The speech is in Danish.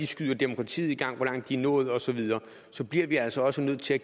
skyder demokratiet i gang og hvor langt de er nået osv så bliver vi altså også nødt til at